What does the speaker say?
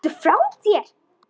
Ertu frá þér!